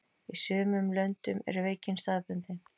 Í sumum löndum er veikin staðbundin.